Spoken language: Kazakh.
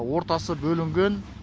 ортасы бөлінген